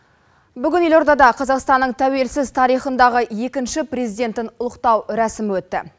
бүгін елордада қазақстанның тәуелсіз тарихындағы екінші президенттің ұлықтау рәсімі өтті